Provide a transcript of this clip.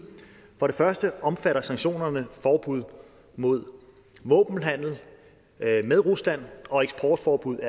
for det første omfatter sanktionerne forbud mod våbenhandel med rusland og eksportforbud